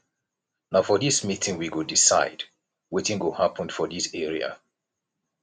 na for dis meeting we go decide wetin go happen for dis area